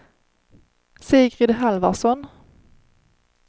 Sigrid Halvarsson